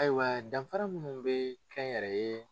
Ayiwa danfara minnu bɛ kɛnyɛrɛye